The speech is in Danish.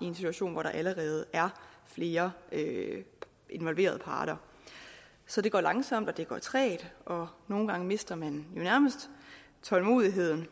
i en situation hvor der allerede er flere involverede parter så det går langsomt og det går trægt og nogle gange mister man jo nærmest tålmodigheden